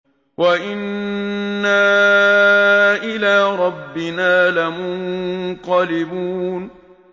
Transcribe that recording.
وَإِنَّا إِلَىٰ رَبِّنَا لَمُنقَلِبُونَ